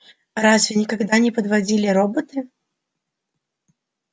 разве никогда не подводили роботы